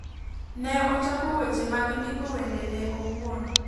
Ne ochako weche mag ndiko wende ne owuon